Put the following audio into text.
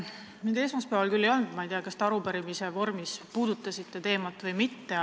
Mind esmaspäeval kohal ei olnud, ma ei tea, kas te arupärimisele vastates puudutasite seda teemat või mitte.